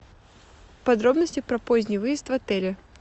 подробности про поздний выезд в отеле